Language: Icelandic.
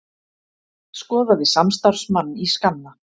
Skoðaði samstarfsmann í skanna